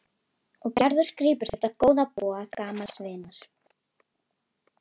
Og Gerður grípur þetta góða boð gamals vinar.